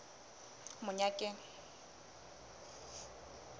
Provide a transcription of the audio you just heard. monyakeng